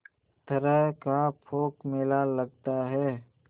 तरह का पोंख मेला लगता है